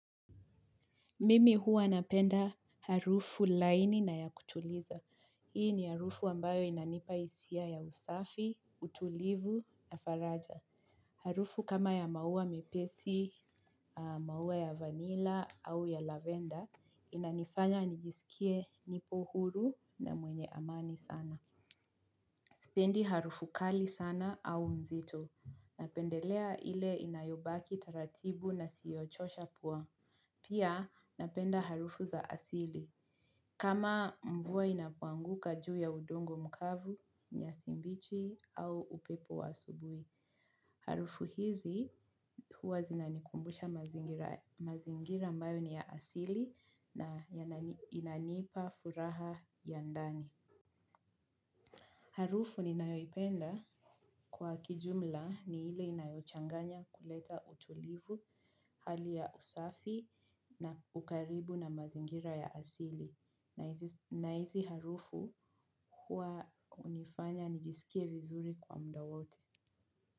Mimi huwa napenda harufu laini na ya kutuliza. Hii ni harufu ambayo inanipa hisia ya usafi, utulivu na faraja. Harufu kama ya maua mepesi, maua ya vanilla au ya lavender, inanifanya nijisikie nipo huru na mwenye amani sana. Sipendi harufu kali sana au nzito. Napendelea ile inayobaki taratibu na isiyochosha pua. Pia napenda harufu za asili. Kama mvua inapoanguka juu ya udongo mkavu, nyasi mbichi au upepo wa asubuhi. Harufu hizi huwa zinanikumbusha mazingira ambayo ni ya asili na inanipa furaha ya ndani. Harufu ninayoipenda kwa kijumla ni ile inayochanganya kuleta utulivu hali ya usafi na ukaribu na mazingira ya asili. Na hizi harufu huwa hunifanya nijisikie vizuri kwa muda wote.